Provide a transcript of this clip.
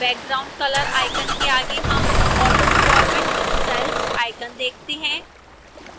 background color icon के आगे हम autoformat styles icon देखते हैं